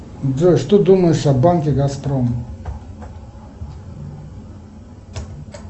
джой что думаешь о банке газпром